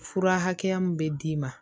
Fura hakɛya min bɛ d'i ma